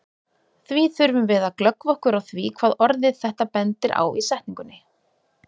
Því þurfum við að glöggva okkur á því hvað orðið þetta bendir á í setningunni.